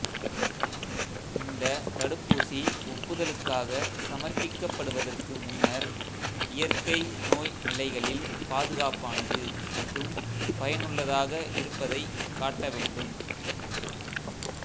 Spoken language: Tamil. இந்த தடுப்பூசி ஒப்புதலுக்காகச் சமர்ப்பிக்கப்படுவதற்கு முன்னர் இயற்கை நோய் நிலைகளில் பாதுகாப்பானது மற்றும் பயனுள்ளதாக இருப்பதைக் காட்ட வேண்டும்